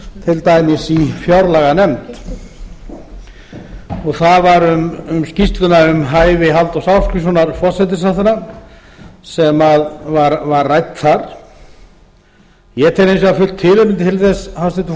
til dæmis í fjárlaganefnd það var um skýrsluna um hæfi halldórs ásgrímssonar forsætisráðherra sem var rædd þar ég tel hins vegar fullt tilefni til þess hæstvirtur